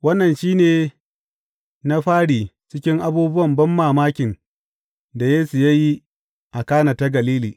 Wannan shi ne na fari cikin abubuwan banmamakin da Yesu ya yi a Kana ta Galili.